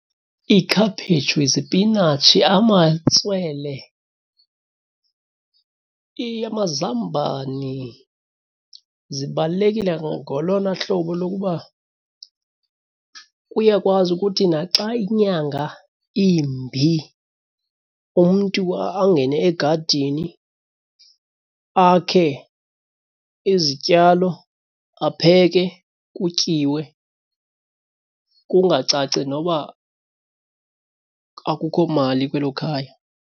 Ikhaphetshu, isipinatshi, amatswele, amazambane zibalulekile ngolona hlobo lokuba kuyakwazi ukuthi naxa inyanga imbi umntu angene egadini, akhe izityalo, apheke, kutyiwe. Kungacaci noba akukho mali kwelo khaya.